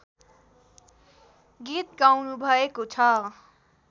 गीत गाउनुभएको छ